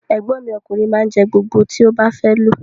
Egbon mi okunrin ma n je gbogbo ti o ba fe lo.